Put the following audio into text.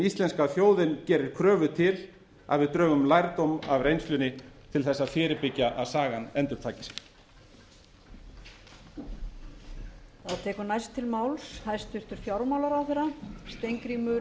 íslenska þjóðin gerir kröfu til að við drögum lærdóm af reynslunni til þess að fyrirbyggja að sagan endurtaki sig